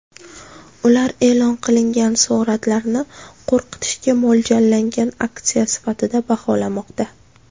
Ular e’lon qilingan suratlarni qo‘rqitishga mo‘ljallangan aksiya sifatida baholamoqda.